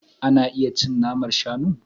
Ana iya cin naman shanu.